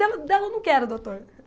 Dela dela eu não quero, doutor.